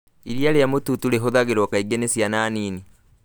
Iriia rĩa mũtuutu rihũthĩragwo kaingĩ nĩ ciana nini